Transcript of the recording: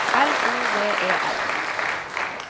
L O V E R